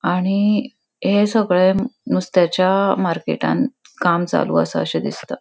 आणि हे सगळें नुस्त्याच्या मार्केटान काम चालू असा अशे दिसता.